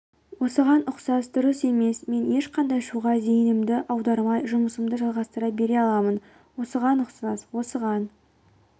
осыған ұқсас дұрыс емес мен ешқандай шуға зейінімді аудармай жұмысымды жалғастыра бере аламын осыған ұқсас осыған